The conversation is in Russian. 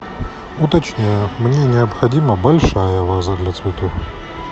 уточняю мне необходима большая ваза для цветов